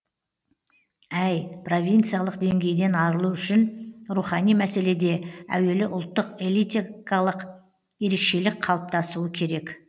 әй провинцалық деңгейден арылу үшін рухани мәселеде әуелі ұлттық элиталық ерекшелік қалыптасуы керек